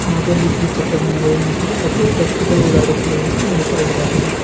ಹಾಗು ಅಲ್ಲಿ ದ್ವಿಚಕ್ರ ವಾಹನಗಳು ನಿಂತಿವೆ ಹಾಗು ವ್ಯಕ್ತಿಗಳು ಓಡಾಡುತ್ತಿರುವುದನ್ನು ಗಮನಿಸಬಹುದಾಗಿದೆ.